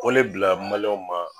K'o le bila maliyɛnw ma